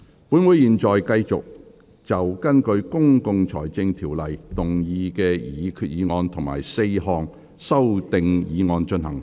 本會現在繼續就根據《公共財政條例》動議的擬議決議案及4項修訂議案進行合併辯論。